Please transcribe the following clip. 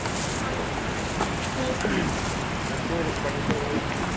সেটাই তো তারপর বাড়ির সবাই ভালো আছে না?